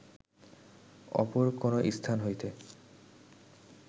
অপর কোন স্থান হইতে